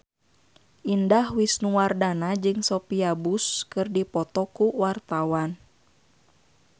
Indah Wisnuwardana jeung Sophia Bush keur dipoto ku wartawan